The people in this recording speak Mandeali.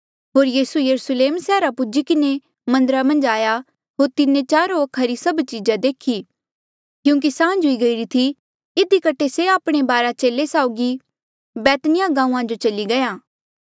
होर यीसू यरुस्लेम सैहरा पूजी किन्हें मन्दरा मन्झ आया होर तिन्हें चारो वखा री सभ चीजा देखी क्यूंकि सांझ हुई गईरी थी इधी कठे से आपणे बारा चेले साउगी बैतनिय्याह गांऊँआं जो चली गया